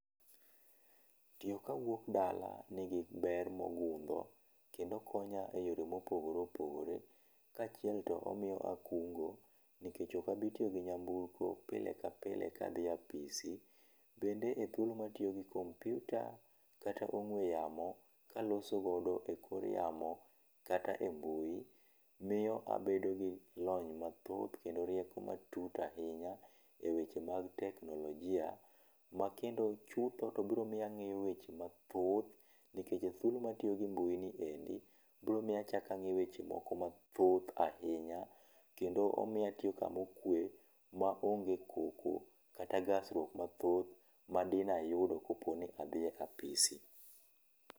Tiyo ka wuok dala ni gi ber ma ogundho, kendo konyo e yoo ma opogore opogore, kaachiel to omiyo akungo nikech ok a bi tiyo gi nyamburko pile ka pile ka dhi e apisi ,bende e thuolo ma atiyo gi kompyuta kata ong'we yamo kaloso godo e kor yamo kata e mbui, miyo abedo gi lony ma thoth kendo rieko matut ahinya e weche mag teknolojia ma kendo chutho to biro miyo aweyo weche mathoth nikech e ma tiyo gi mbui ni endi biro miyo achako ang'eyo weche moko ma thoth kendo omiyo atiyo ka ma okwe ma onge koko kata ma thoth ma di ne ayudo ka po ni adhi e apisi.